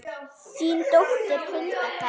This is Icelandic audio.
Þín dóttir, Hulda Karen.